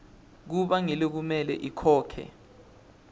kuba ngulekumele akhokhe